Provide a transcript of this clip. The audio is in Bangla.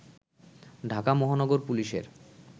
ঢাকা মহানগর পুলিশের